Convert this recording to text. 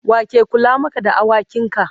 wake Kula Maka da awakin ka?